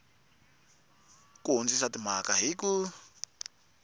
ku hundzisa timhaka hi ku